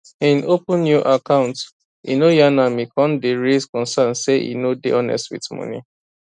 hin open new account e no yarn am e con day raise concerns say e no day honest with money